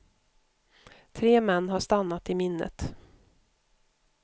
Tre män har stannat i minnet.